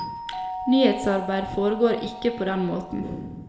Nyhetsarbeid foregår ikke på den måten.